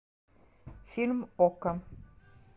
фильм окко